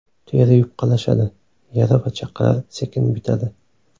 Teri yupqalashadi, yara va chaqalar sekin bitadi.